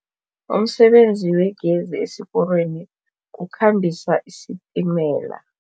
Umsebenzi wegezi esiporweni kukhambisa isitimela.